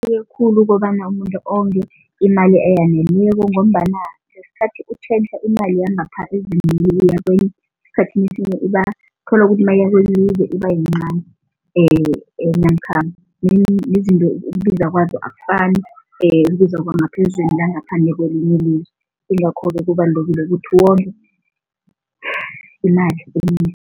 Khulu ukobana umuntu onge imali eyaneleko ngombana ngesikhathi utjhentjha imali yangapha kwenye, esikhathini esinye uthola ukuthi kwelinye ilizwe ibayincani namkha nezinto ukubiza kwazo akufani ibizwa kwangaphezulu kwelinye ilizwe, yingakho-ke kubalulekile ukuthi wonge imali